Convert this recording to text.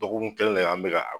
Dɔgɔkun kelen an bɛ ka